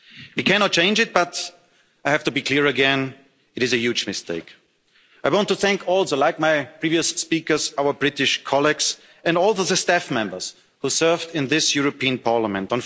We cannot change it, but I have to be clear again it is a huge mistake. I want to thank also, like my previous speakers, our British colleagues and all the staff members who served in this European Parliament.